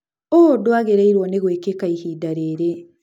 ũũ ndũagĩrĩirwo nĩ gũĩkĩka ihinda rĩrĩ.